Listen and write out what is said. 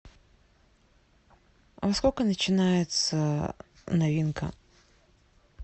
во сколько начинается новинка